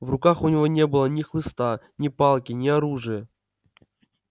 в руках у него не было ни хлыста ни палки ни оружия